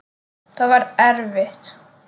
Það var erfitt.